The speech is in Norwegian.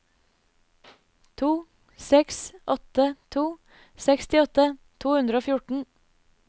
to seks åtte to sekstiåtte to hundre og fjorten